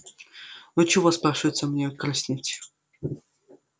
ну чего спрашивается мне краснеть